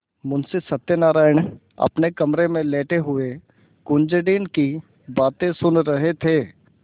मुंशी सत्यनारायण अपने कमरे में लेटे हुए कुंजड़िन की बातें सुन रहे थे